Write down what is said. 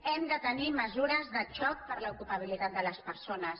hem de tenir mesures de xoc per a l’ocupabilitat de les persones